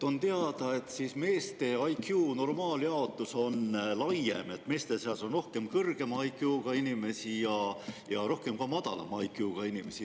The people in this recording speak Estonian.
On teada, et meeste IQ normaaljaotus on laiem: meeste seas on rohkem kõrgema IQ-ga inimesi ja rohkem ka madalama IQ-ga inimesi.